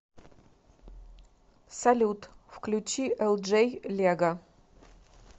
салют включи элджей лего